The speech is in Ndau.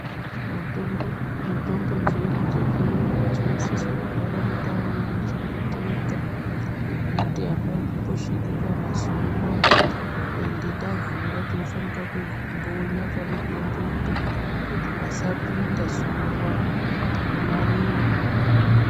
Mutombo mitombo dzedu dzezviyungu dzinosisa kugara mundau inochengeteka yekuti apambosviki kana zuwa ende tavhura tinofanika kumbonya pamutombopo kuti pasapinda zuwa nekunaiwa.